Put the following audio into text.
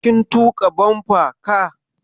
Kin tuƙa bumper car?